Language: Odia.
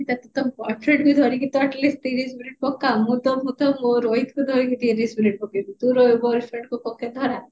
ତ ଅଠର minute ଧରିକି ତ at least ତିରିଶ minute ପକା ମୁଁ ତ ମୋ ରୋହିତ କୁ ଧରିକି ତିରିଶ minute ପକେଇବି ତୁ ଧରା